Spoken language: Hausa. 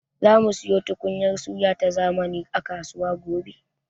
Zamu siyo tukunyar suya ta zamani a kasuwa gobe.